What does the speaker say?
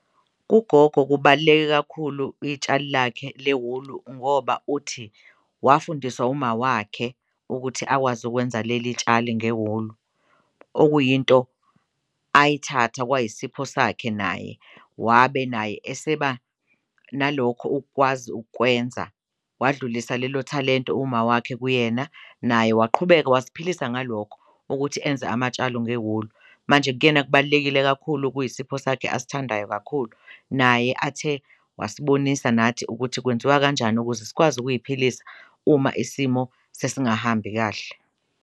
Kugogo kubaluleke kakhulu itshali lakhe lewulu ngoba uthi wafundiswa umawakhe ukuthi akwazi ukwenza leli tshali ngewulu, okuyinto ayithatha kwayisipho sakhe naye wabe naye eseba nalokho ukwazi ukwenza, wadlulisa lelo thalente umawakhe kuyena naye waqhubeka waziphilisa ngalokho ukuthi enze amatshalo ngewulu. Manje kuyena kubalulekile kakhulu kuyisipho sakhe asithandayo kakhulu naye athe wasibonisa nathi ukuthi kwenziwa kanjani ukuze sikwazi ukuyiphilisa uma isimo sesingahambi kahle.